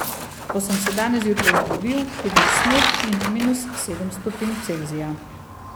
Ko sem se danes zjutraj zbudil, je bil sneg in minus sedem stopinj Celzija.